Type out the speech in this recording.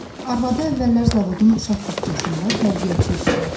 Arvadı əvvəllər zavodun uşaq bağçasında tərbiyəçi işləyirdi.